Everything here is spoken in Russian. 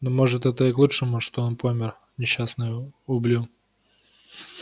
ну может это и к лучшему что он помер несчастный ублю